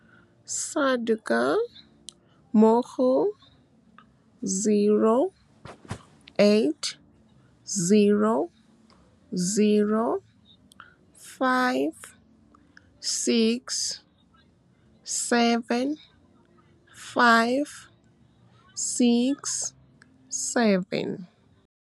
SADAG mo go 0800 567 567. SADAG mo go 0800 567 567.